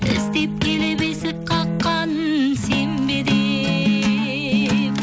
іздеп келіп есік қаққан сен бе деп